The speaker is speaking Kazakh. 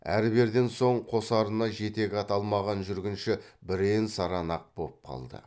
әрберден соң қосарына жетек ат алмаған жүргінші бірен саран ақ боп қалды